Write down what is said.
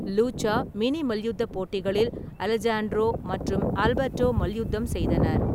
Lucha mini மல்யுத்தப் போட்டிகளில் Alejandro மற்றும் ஆல்பர்டோ மல்யுத்தம் செய்தனர்.